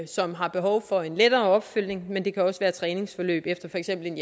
som har behov for en lettere opfølgning men det kan også være træningsforløb efter for eksempel en